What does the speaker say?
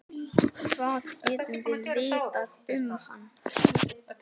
Hvað getum við vitað um hann?